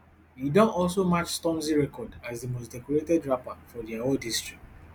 e don also match stormzy record as di most decorated rapper for di award history